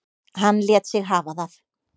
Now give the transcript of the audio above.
Hann lét sig hafa það.